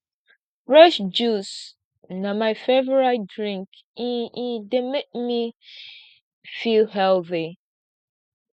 fresh juice na my favourite drink e e dey make me feel healthy